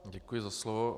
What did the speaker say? Děkuji za slovo.